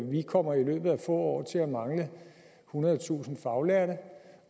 vi kommer i løbet af få år til at mangle ethundredetusind faglærte